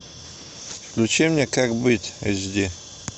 включи мне как быть эйч ди